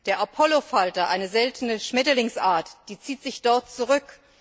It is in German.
Der Apollofalter, eine seltene Schmetterlingsart, zieht sich dort zurück.